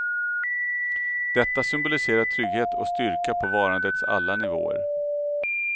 Detta symboliserar trygghet och styrka på varandets alla nivåer.